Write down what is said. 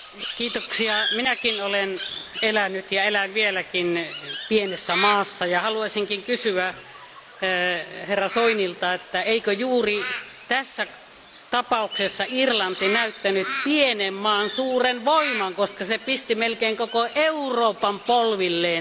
Arvoisa puhemies, minäkin olen elänyt ja elän vieläkin pienessä maassa. Haluaisin kysyä Soinilta, että eikö juuri tässä tapauksessa Irlanti näyttänyt pienen maan suuren voiman, koska se pisti melkein koko Euroopan polvilleen.